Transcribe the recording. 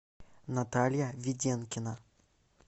наталья веденкина